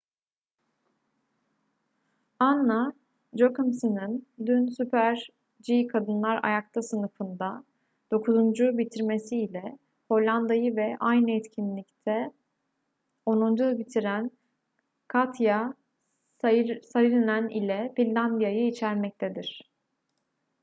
anna jochemsen'in dün super-g kadınlar ayakta sınıfında dokuzuncu bitirmesi ile hollanda'yı ve aynı etkinlikte onuncu bitiren katja saarinen ile finlandiya'yı içermektedir